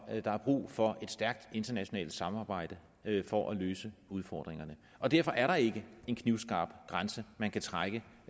der er brug for et stærkt internationalt samarbejde for at løse udfordringerne og derfor er der ikke en knivskarp grænse man kan trække